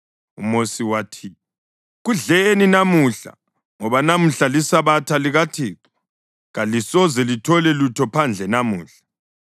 UMosi wathi, “Kudleni namuhla, ngoba namuhla liSabatha likaThixo, kalisoze lithole lutho phandle namuhla.